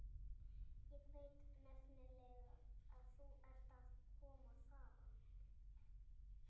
Ég veit nefnilega að þú ert að koma þaðan.